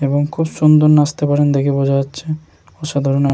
এবং খুব সুন্দর নাচতে পারেন দেখে বোঝা যাচ্ছে অসাধারণ --